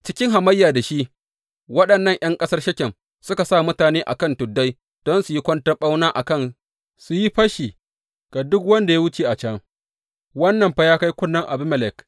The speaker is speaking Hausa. Cikin hamayya da shi waɗannan ’yan ƙasar Shekem suka sa mutane a kan tuddai don su yi kwanton ɓauna a kan su yi fashi ga duk wanda ya wuce a can, wannan fa ya kai kunnen Abimelek.